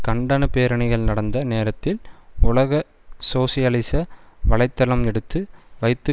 கண்டன பேரணிகள் நடந்த நேரத்தில் உலக சோசியலிச வலை தளம் எடுத்து வைத்த